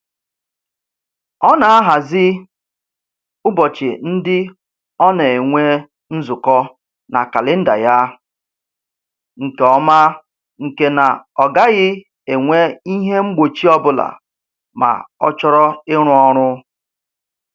Ọ na-ahazi ụbọchị ndị ọ na-enwe nzukọ na kalịnda ya nke ọma nke na ọ gaghị enwe ihe mgbochi ọbụla ma ọ chọrọ ịrụ ọrụ